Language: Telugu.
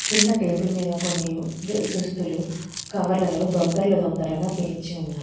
కింద టేబుల్ మీద కొన్ని దురదస్తులు కవర్లలో దొంతరలు తొందరగా పేర్చి ఉన్నాయి.